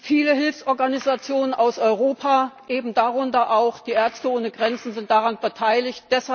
Viele Hilfsorganisationen aus Europa, darunter eben auch Ärzte ohne Grenzen, sind daran beteiligt.